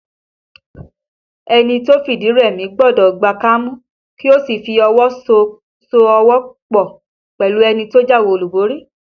Ẹni tó fìdí rẹmi gbọ́dọ̀ gba kámú kí ó sì fi ọwọ so ọwọ́ pọ̀ pẹ̀lú ẹni tó jáwé olúborí